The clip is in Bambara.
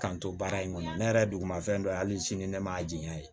K'an to baara in kɔnɔ ne yɛrɛ duguma fɛn dɔ hali sini ne ma a jɛn ye